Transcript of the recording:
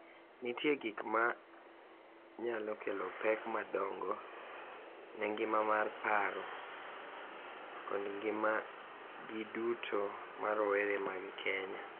Nitie gik ma nyalo kelo pek madongo ne ngima mar paro kod ngimagi duto ma rowere mag Kenya.